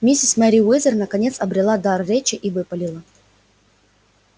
миссис мерриуэзер наконец обрела дар речи и выпалила